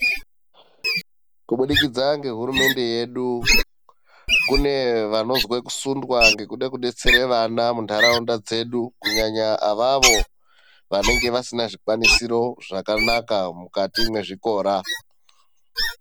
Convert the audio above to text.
Kubudikidza ngehurumende yedu kune vanozwe kusundwa ngekude kudetsere vana muntaraunda dzedu kunyanya avavo vanenga vasina zvikwabisiro zvakanaka mukati mwezvikora .